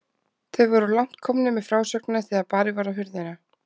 Þeir voru langt komnir með frásögnina þegar barið var á hurðina.